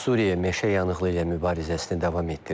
Suriya meşə yanığı ilə mübarizəsini davam etdirir.